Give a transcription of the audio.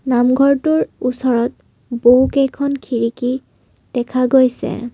নামঘৰটোৰ ওচৰত বহুকেইখন খিৰিকী দেখা গৈছে।